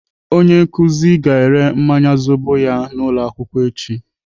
Onye nkụzi ga-ere mmanya zobo ya n'ụlọakwụkwọ echi.